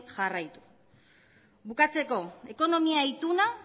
jarraitu bukatzeko ekonomia ituna